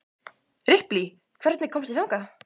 Ripley, hvernig kemst ég þangað?